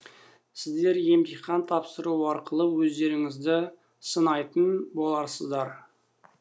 сіздер емтихан тапсыру арқылы өздеріңізді сынайтын боласыздар